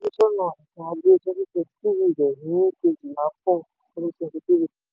ìfojúsọ́nà ètò ajé twenty twenty three rẹ̀ ní kéjìlá four twenty twenty three.